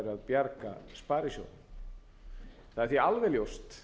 bjarga sparisjóðunum það er því alveg ljóst